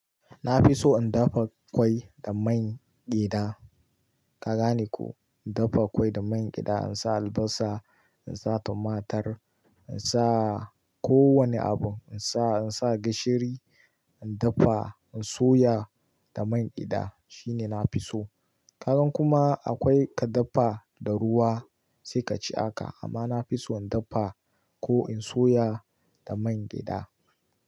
Na fi so in dafa ƙwai da man gyada. Ka gane ko? In dafa ƙwai da man gyada, in sa albasa, in sa tumatur, in sa ko wane abu, in sa, in sa gishiri, in dafa, in soya da man gyada shine na fi so. Kaga kuma akwai ka dafa da ruwa sai ka ci haka amma na fi so in dafa ko in soya da man gyada.